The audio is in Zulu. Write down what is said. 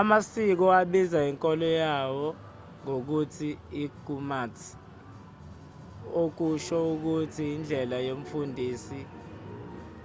ama-sikh abiza inkolo yawo ngokuthi yigurmat okusho ukuthi indlela yomfundisi